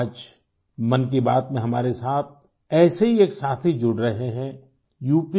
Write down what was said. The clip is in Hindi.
आज मन की बात में हमारे साथ ऐसे ही एक साथी जुड़ रहे हैं uप